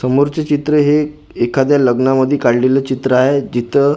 समोरचे चित्र हे एखाद्या लग्नामध्ये काढलेले चित्र आहे जिथं--